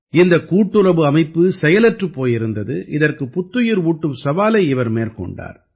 இந்தக் கூட்டுறவு அமைப்பு செயலற்றுப் போயிருந்தது இதற்குப் புத்துயிர் ஊட்டும் சவாலை இவர் மேற்கொண்டார்